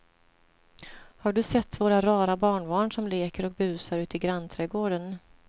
Har du sett våra rara barnbarn som leker och busar ute i grannträdgården!